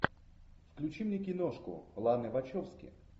включи мне киношку ланы вачовски